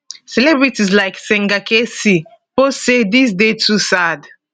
celebrities like singer kcee post say dis dey too sad